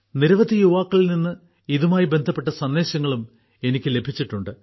നിരവധി യുവാക്കളിൽനിന്ന് ഇതുമായി ബന്ധപ്പെട്ട സന്ദേശങ്ങളും എനിക്ക് ലഭിച്ചിട്ടുണ്ട്